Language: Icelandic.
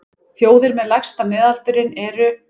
Þjóðir með lægsta miðaldurinn eru: